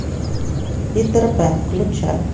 питер пэн включай